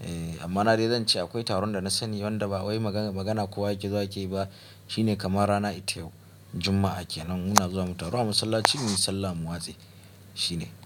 Eh amma na dai zan ce akwai taron da na sani wanda ba wai magana magana kowa yake zuwa yake yi ba shine kamar rana ita yau juma'a kenan muna zuwa mu taro a masallaci muyi sallah mu watse shine.